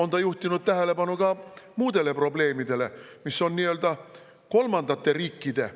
Ta on juhtinud tähelepanu ka nendele probleemidele, mis on nii-öelda kolmandate riikidega.